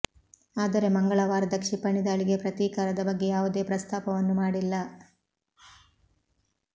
ಆದರೆ ಮಂಗಳವಾರದ ಕ್ಷಿಪಣಿ ದಾಳಿಗೆ ಪ್ರತೀಕಾರದ ಬಗ್ಗೆ ಯಾವುದೇ ಪ್ರಸ್ತಾಪವನ್ನು ಮಾಡಿಲ್ಲ